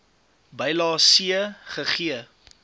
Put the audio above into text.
bylae c gegee